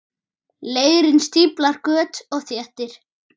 Leirinn stíflar göt og þéttir.